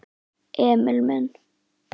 Emil minn.